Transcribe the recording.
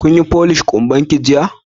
Kin yi folish kumban ki jiya?